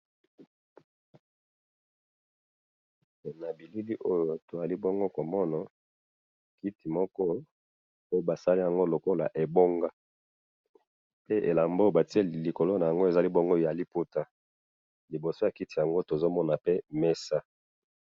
Awa tomoni kiti moko basali yango lokola ebonga, bati elamba ya liputa likolo na ngo. liboso ya kiti yango tozomona pe mesa.